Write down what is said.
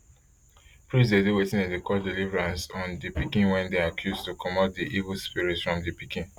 priests dey do wetin dem dey call deliverance on pikin wey dem accuse to comot di evil spirits from di pikin